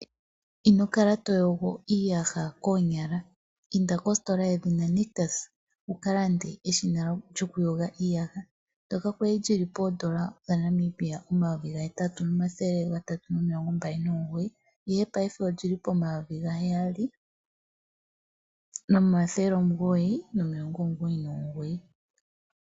Ino kala toyogo iiyaha koonyala inda kositola yedhina nictus wuka lande eshina lyoku yoga iiyaha ndyoka kwali lyili poondola dhaNamibia omayovi gahetatu nomathele gatatu nomilongo mbali nomugoyi ihe paife olyi li pomayovi gaheyali nomathele omugoyi nomilongo omugoyi nomugoyi.